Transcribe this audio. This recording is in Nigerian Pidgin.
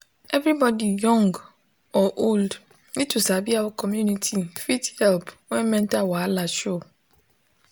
everybody young or old need to sabi how community fit help when mental wahala show.